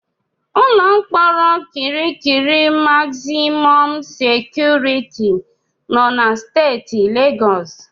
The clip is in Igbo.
Ụlọ mkpọrọ Kirikiri magzimọm sekuriti nọ na Steeti Legọs.